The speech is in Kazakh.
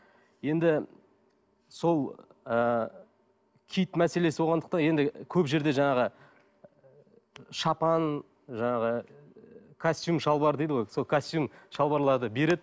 енді сол ыыы киіт мәселесі болғандықтан енді көп жерде жаңағы шапан жаңағы костюм шалбар дейді ғой сол костюм шалбарларды береді